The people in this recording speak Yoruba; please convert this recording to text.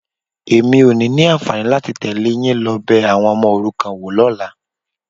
Èmi ò ní ní àǹfààní láti tẹ̀lé yín lọ bẹ àwọn ọmọ òrukàn wo lọ́la.